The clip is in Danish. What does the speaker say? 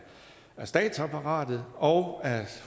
statsapparatet og